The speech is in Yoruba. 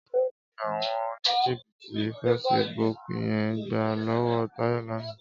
Éló ni áwòn ónijíbìtí fésibúk yèn gbá lòwò Tayo làná?